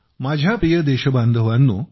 माझ्या प्रिय देशबांधवांनो